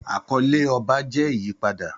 Àkọlé ọba jẹ́ ìyípadà.